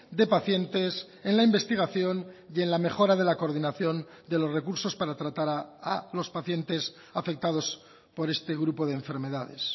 de pacientes en la investigación y en la mejora de la coordinación de los recursos para tratar a los pacientes afectados por este grupo de enfermedades